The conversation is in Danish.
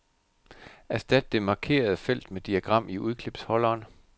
Erstat det markerede felt med diagram i udklipsholderen.